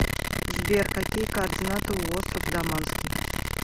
сбер какие координаты у остров даманский